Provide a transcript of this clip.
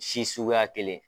Si suguya kelen